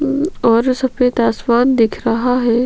ओर सफेद आसमान दिख रहा है।